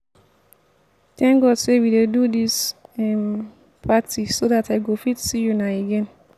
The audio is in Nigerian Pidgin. thank god say we dey do dis um party so dat i go fit see una again